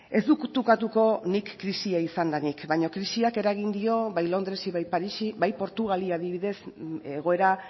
ez dut ukatuko nik krisia izan denik baina krisiak eragin dio londresi bai parisi bai portugali adibidez egoera